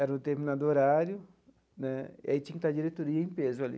Era um determinado horário né, e aí tinha que estar a diretoria em peso ali.